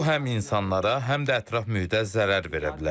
Bu həm insanlara, həm də ətraf mühitə zərər verə bilər.